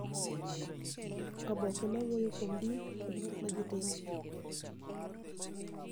Oboke ma wuoyo kuom din kod gik ma ji timo